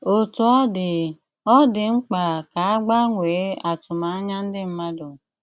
Otu ọ̀ dị, ọ̀ dị mkpa ka a gbanwee àtụ̀mànyà ndị mmadụ.